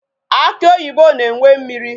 Akị oyibo na-enwe mmiri.